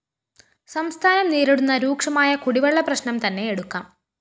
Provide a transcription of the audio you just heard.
സംസ്ഥാനം നേരിടുന്ന രൂക്ഷമായ കുടിവെള്ള പ്രശ്‌നം തന്നെ എടുക്കാം